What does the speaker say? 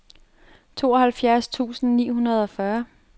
tooghalvfjerds tusind ni hundrede og fyrre